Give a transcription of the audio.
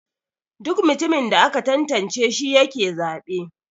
Duk mutumin da aka tantance shi yake zabe.